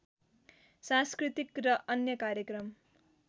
सांस्कृतिक र अन्य कार्यक्रम